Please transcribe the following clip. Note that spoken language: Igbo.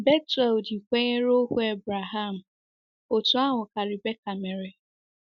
Bethuel ji kwenyere ohu Abraham, otú ahụkwa ka Rebecca mere.